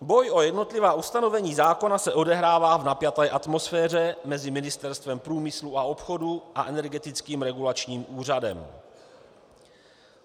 Boj o jednotlivá ustanovení zákona se odehrává v napjaté atmosféře mezi Ministerstvem průmyslu a obchodu a Energetickým regulačním úřadem.